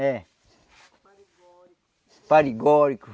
É. Paregórico.